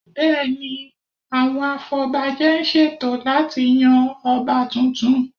Bẹ́ẹ̀ ni, àwọn afọbajẹ ń ṣètò láti yan Ọba tuntun